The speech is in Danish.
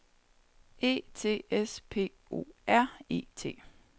E T S P O R E T